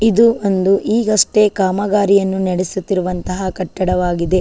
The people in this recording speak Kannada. ಇದು ಒಂದು ಈಗಷ್ಟೆ ಕಾಮಗಾರಿಯನ್ನು ನಡೆಸುತ್ತಿರುವಂತಹ ಕಟ್ಟಡವಾಗಿದೆ .